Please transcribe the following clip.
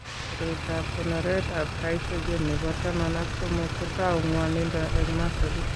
Koroitoab konoretab gycogen nebo taman ak somok kotou ng'wanindo eng' masolit.